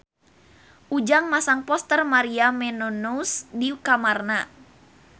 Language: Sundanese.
Ujang masang poster Maria Menounos di kamarna